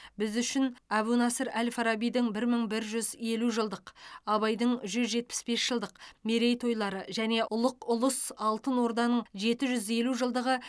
біз үшін әбу насыр әл фарабидің бір мың бір жүз елу жылдық абайдың жүз жетпіс бес жылдық мерейтойлары және ұлық ұлыс алтын орданың жеті жүз елу жылдығы